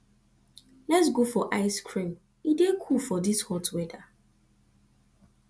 lets go for ice cream e dey cool for this hot weather